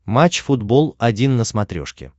матч футбол один на смотрешке